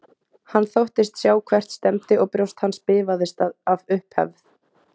Hann þóttist sjá hvert stefndi og brjóst hans bifaðist af upphefð.